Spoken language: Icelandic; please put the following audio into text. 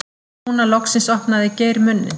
Núna loksins opnaði Geir munninn.